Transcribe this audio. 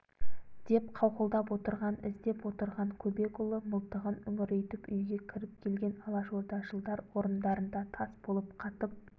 деп қауқылдап отырған іздеп отырған көбекұлы мылтығын үңірейтіп үйге кіріп келген алашордашылдар орындарында тас болып қатып